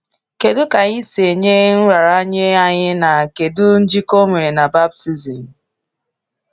Kedu ka anyị si enye nraranye anyị na kedu njikọ ọ nwere na baptizim?